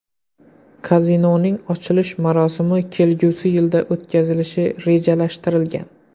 Kazinoning ochilish marosimi kelgusi yilda o‘tkazilishi rejalashtirilgan.